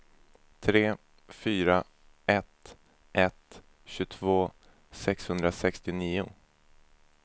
tre fyra ett ett tjugotvå sexhundrasextionio